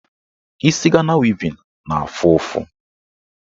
Isi Gana wevin na-afụ ụfụ.